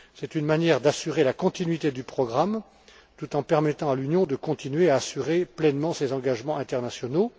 C'est une manière d'assurer la continuité du programme tout en permettant à l'Union de continuer à assurer pleinement ses engagements internationaux.